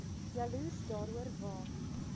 jaloers daaroor waak